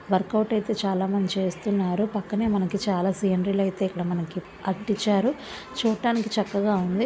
Work out అయితే చాలా మంది చేస్తున్నారు. పక్కనే మనకి చాలా సీనరీస్ అయితే ఇక్కడ మనకి అతికించారు. చూట్టానికి చక్కగా ఉంది.